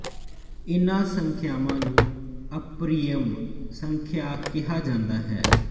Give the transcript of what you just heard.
ਇਹਨਾਂ ਸੰਖਿਆਵਾਂ ਨੰ ਅਪਰਿਮੇਯ ਸੰਖਿਆ ਕਿਹਾ ਜਾਂਦਾ ਹੈ